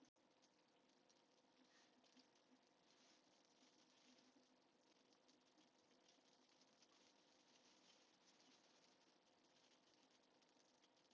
Árni Elvar: Af hverju ætti ég að fá samviskubit?